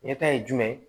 Ɲɛta ye jumɛn ye